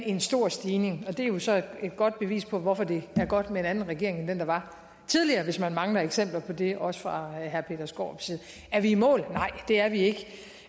en stor stigning og det er jo så et godt bevis på hvorfor det er godt med en anden regering end den der var tidligere hvis man mangler eksempler på det også fra herre peter skaarups side er vi i mål nej det er vi ikke